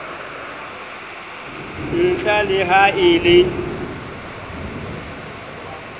ntlha le ha e le